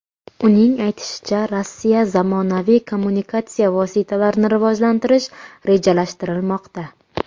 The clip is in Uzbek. Uning aytishicha, Rossiyada zamonaviy kommunikatsiya vositalarini rivojlantirish rejalashtirilmoqda.